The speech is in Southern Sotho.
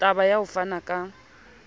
taba ya ho fana ka